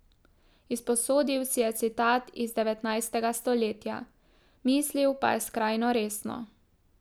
Izposodil si je citat iz devetnajstega stoletja, mislil pa je skrajno resno.